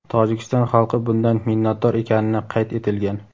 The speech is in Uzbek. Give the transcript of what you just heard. Tojikiston xalqi bundan minnatdor ekanini qayd etilgan.